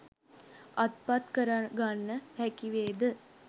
අත්පත් කරගන්න හැකිවේද?